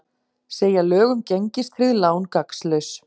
Segja lög um gengistryggð lán gagnslaus